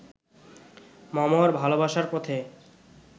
মমর ভালোবাসার পথে